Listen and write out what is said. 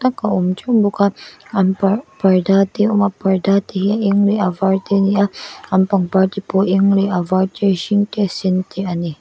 ka awm teuh bawka an parh parda te a awma parda te hi a eng leh a var te ani a an pangpar te pawh a eng leh a var te hring te sen te ani.